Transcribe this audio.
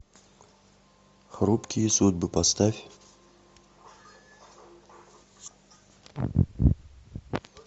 хрупкие судьбы поставь